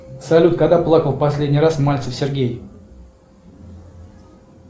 салют когда плакал последний раз мальцев сергей